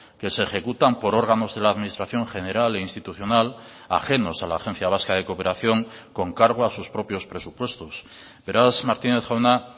que se ejecutan por órganos de la administración general e institucional ajenos a la agencia vasca de cooperación con cargo a sus propios presupuestos beraz martínez jauna